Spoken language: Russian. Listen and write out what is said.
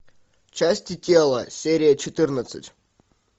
части тела серия четырнадцать